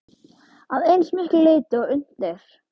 Að eins miklu leyti og unnt er.